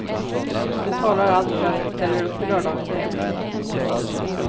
Nu talar allt för att hon ställer upp i lördagens tävling.